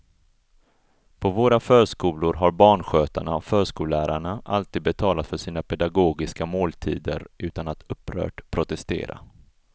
På våra förskolor har barnskötarna och förskollärarna alltid betalat för sina pedagogiska måltider utan att upprört protestera.